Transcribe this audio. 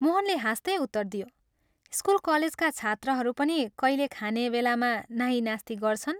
मोहनले हाँस्तै उत्तर दियो "स्कूल कलेजका छात्रहरू पनि कैले खाने बेलामा नाहिं नास्ति गर्छन्?